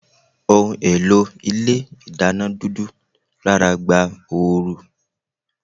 Ohùn èlò Ilé ìdáná dúdú rára gba ooru